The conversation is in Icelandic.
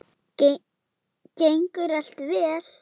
Gengur allt vel?